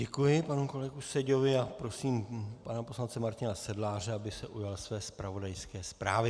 Děkuji panu kolegovi Seďovi a prosím pana poslance Martina Sedláře, aby se ujal své zpravodajské zprávy.